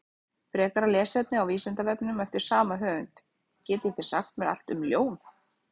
Frekara lesefni á Vísindavefnum eftir sama höfund: Getið þið sagt mér allt um ljón?